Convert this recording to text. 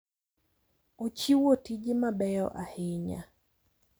Ochiwo tije mabeyo ahinya.